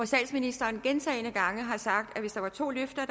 statsministeren gentagne gange sagt at hvis der var to løfter